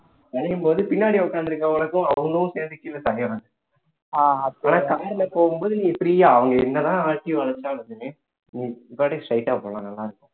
வளையும்போது பின்னாடி உட்கார்ந்திருக்கிறவங்களுக்கும் அவங்களும் சேர்ந்து கீழ தள்ளிடுறாங்க ஆனா car ல போகும்போது free ஆ அவங்க என்னதான் ஆட்டி வளைச்சாலும் நீ பாட்டுக்கு straight ஆ போகலாம் நல்லா இருக்கும்